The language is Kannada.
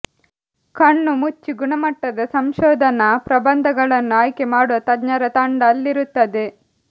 ಕಣ್ಣುಮುಚ್ಚಿ ಗುಣಮಟ್ಟದ ಸಂಶೋಧನಾ ಪ್ರಬಂಧಗಳನ್ನು ಆಯ್ಕೆ ಮಾಡುವ ತಜ್ಞರ ತಂಡ ಅಲ್ಲಿರುತ್ತದೆ